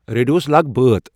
ریڈیووَس لاگ بٲتھ